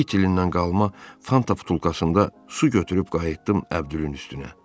İt ilindən qalma fanta butulkasında su götürüb qayıtdım Əbdülün üstünə.